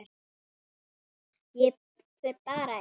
Ég fer bara ein.